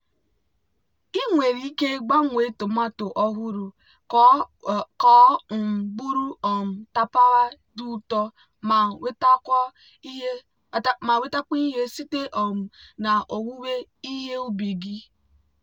ị nwere ike gbanwee tomato ọhụrụ ka ọ um bụrụ um tapawa dị ụtọ ma nwetakwuo ihe site um na owuwe ihe ubi gị.